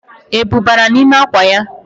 Ebu bara nime akwa ya